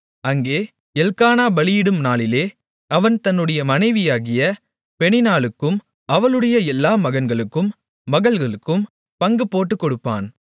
அங்கே எல்க்கானா பலியிடும் நாளிலே அவன் தன்னுடைய மனைவியாகிய பெனின்னாளுக்கும் அவளுடைய எல்லா மகன்களுக்கும் மகள்களுக்கும் பங்குபோட்டுக் கொடுப்பான்